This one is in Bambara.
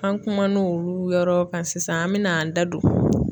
An kumana olu yɔrɔ kan sisan an bɛ n'an da don